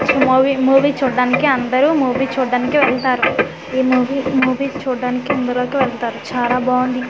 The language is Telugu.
ఈ మూవీ మూవీ చూడడానికి అందరూ మూవీ చూడ్డానికి వెళ్తారు ఈ మూవీ మూవీ చూడడానికి ఇందులోకి వెళ్తారు చాలా బాగుంది.